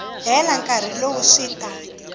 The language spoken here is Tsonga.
hela nkarhi lowu swi ta